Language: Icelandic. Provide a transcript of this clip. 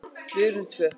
Við urðum tvö.